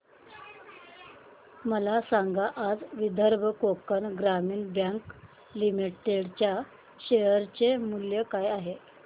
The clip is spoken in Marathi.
मला सांगा आज विदर्भ कोकण ग्रामीण बँक लिमिटेड च्या शेअर चे मूल्य काय आहे